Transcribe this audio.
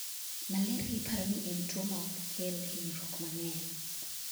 malaria iparo ni en tuo ma ok kel hinyruok mang'eny